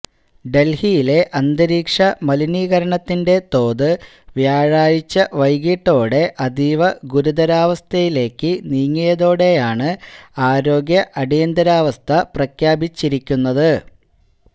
ഡല്ഹിയിലെ അന്തരീക്ഷ മലിനീകരണത്തിന്റെ തോത് വ്യാഴാഴ്ച വൈകിട്ടോടെ അതീവ് ഗുരുതരാവസ്ഥയിലേക്ക് നീങ്ങിയതോടെയാണ് ആരോഗ്യ അടിയന്തരാവസ്ഥ പ്രഖ്യാപിച്ചിരിക്കുന്നത്